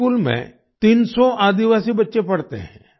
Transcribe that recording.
इस स्कूल में 300 आदिवासी बच्चे पढ़ते हैं